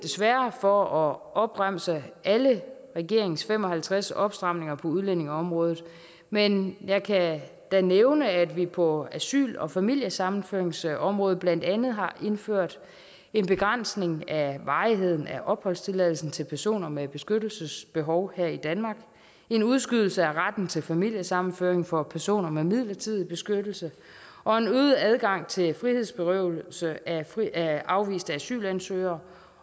for at opremse alle regeringens fem og halvtreds opstramninger på udlændingeområdet men jeg kan da nævne at vi på asyl og familiesammenføringsområdet blandt andet har indført en begrænsning af varigheden af opholdstilladelser til personer med beskyttelsesbehov her i danmark en udskydelse af retten til familiesammenføring for personer med midlertidig beskyttelse og en øget adgang til frihedsberøvelse af af afviste asylansøgere